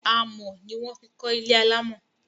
Amọ̀ ní wọ́n fi kọ ilé alámọ̀